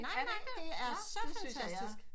Nej nej det er så fantastisk